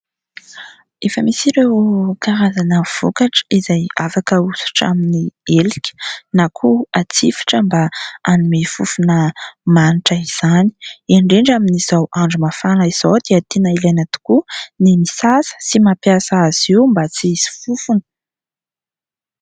Efa misy ireo karazana vokatra izay afaka hahosotra amin'ny helika na koa hatsifitra mba hanome fofona manitra izany. Indrindra amin'izao andro mafana izao dia tena ilaina tokoa ny misasa sy mampiasa azy io mba tsy hisy fofona.